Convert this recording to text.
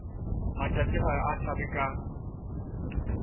matšatši ga a hlabe ka